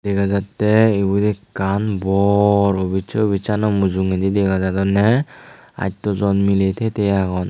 dega jattey ibot ekkan bor obiz se obizsano mujungondi dega jadonney attojon miley tey tey agon.